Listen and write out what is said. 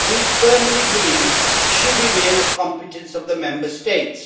We firmly believe it should remain a competence of the Member States.